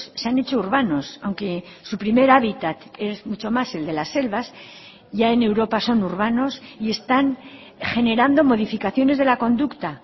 se han hecho urbanos aunque su primer hábitat es mucho más el de las selvas ya en europa son urbanos y están generando modificaciones de la conducta